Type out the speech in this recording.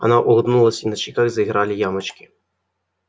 она улыбнулась и на щеках заиграли ямочки